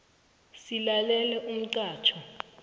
silalela umxhatjho